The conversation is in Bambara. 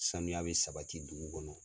Sanuya bɛ sabati dugu kɔnɔ.